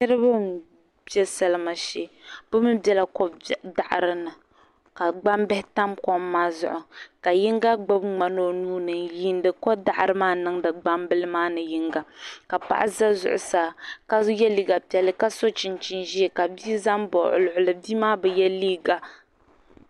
Niriba n be salima shee bi mi bela ko daɣiri ni ka gbaŋ bihi tam kom maa zuɣu ka yiŋga ŋmani o nuuni n yiini ko daɣiri maa niŋdi gban bili maa ni yinga ka paɣa za zuɣusaa ka ye liiga piɛlli ka so chinchin ʒee ka bi'zani baɣa o luhili bi'maa bi ye liiga.